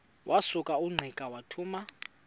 wasuka ungqika wathuma